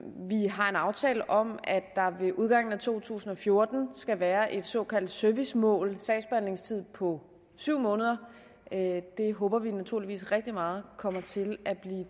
har en aftale om at der ved udgangen af to tusind og fjorten skal være et såkaldt servicemål for sagsbehandlingstiden på syv måneder det håber vi naturligvis rigtig meget kommer til at blive